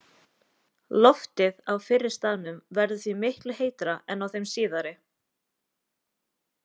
Loftið á fyrri staðnum verður því miklu heitara en á þeim síðari.